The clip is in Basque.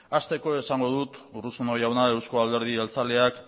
hasteko esango dut urruzuno jauna euzko alderdi jeltzaleak